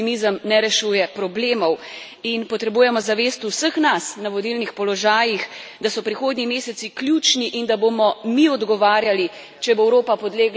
In potrebujemo zavest vseh nas, na vodilnih položajih, da so prihodnji meseci ključni in da bomo mi odgovarjali, če bo Evropa podlegla populizmom in nacionalizmom.